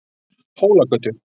Hólagötu